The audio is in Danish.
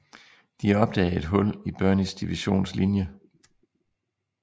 De opdagede et hul i Birneys divisions linje